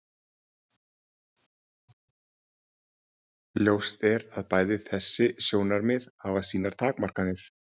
ljóst er að bæði þessi sjónarmið hafa sínar takmarkanir